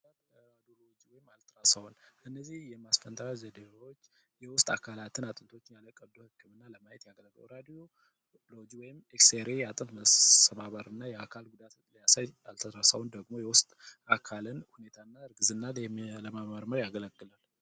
እነዚህ የማስፈንጠርያ ዘዴዎች የውስጥ አካላትን ለማየት ያገለግላሉ። በአልትራሳውንድ የውስጥ አካላትን አጥንቶች ወይም ደግሞ ለቀው ህክምና ያገለግላሉ። በኤክስሬ የአጥንት መስተባበርና የአካል ጉዳትን የሚያሳይ ደግሞ የወጣ አካልን የእርግዝናን ለመመርመር ያገለግላል።